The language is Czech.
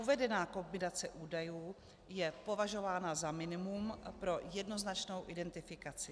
Uvedená kombinace údajů je považována za minimum pro jednoznačnou identifikaci.